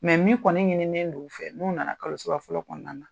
min kɔni ɲininen don u fɛ n'u nana kalosaba fɔlɔ kɔnɔna na